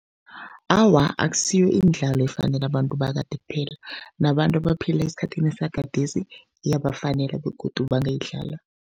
Awa, akusiyo imidlalo efanele abantu bakade kuphela, nabantu abaphila esikhathini sagadesi iyabafanele begodu bangayidlala.